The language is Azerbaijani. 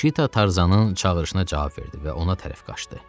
Şita Tarzanın çağırışına cavab verdi və ona tərəf qaçdı.